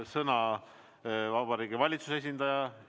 Sõna on Vabariigi Valitsuse esindajal.